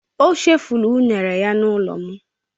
O chefuru unere ya n'ulo m